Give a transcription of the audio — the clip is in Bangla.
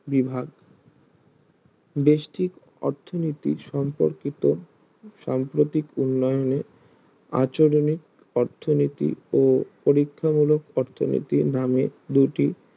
বিভাগ ব্যষ্টিক অর্থনীতি সম্পর্কিত সাম্প্রতিক উন্নয়নে আচরণে অর্থনীতি ও পরীক্ষণমূলক অর্থনীতি নাম দুটি